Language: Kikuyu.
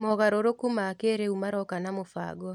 Mogarũrũku ma kĩrĩu maroka na mũbango.